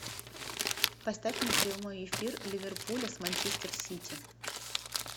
поставь мне прямой эфир ливерпуля с манчестер сити